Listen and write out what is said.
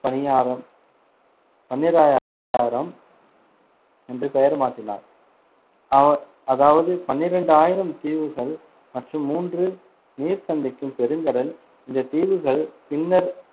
பனியாரம்~ பன்னீராயாரம் என்று பெயர் மாற்றினார், ஆதா~ அதாவது பன்னிரண்டு ஆயிரம் தீவுகள் மற்றும் மூன்று நீர் சந்திக்கும் பெருங்கடல் இந்த தீவுகள் பின்னர்